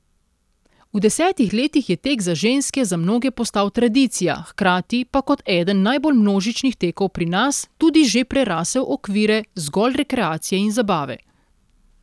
V desetih letih je tek za ženske za mnoge postal tradicija, hkrati pa kot eden najbolj množičnih tekov pri nas tudi že prerasel okvire zgolj rekreacije in zabave.